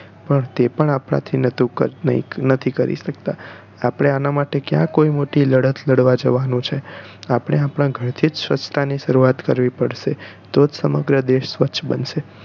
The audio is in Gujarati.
પણ તે પણ આપણે નોહ્તું નથી કરી શકતા આપણે આનાં માટે ક્યાં કોઈ મોટી લડત લાડવા જવાનું છે આપણે આપણા ઘરથી જ સ્વચ્છતા ની શરૂવાત કરવી પડશે તોજ સમગ્ર દેશ સ્વચ્છ બનશે